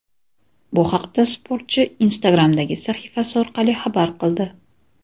Bu haqda sportchi Instagram’dagi sahifasi orqali xabar qildi.